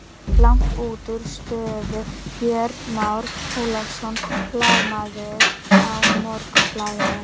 Langt útúr stöðu Björn Már Ólafsson, blaðamaður á Morgunblaðinu.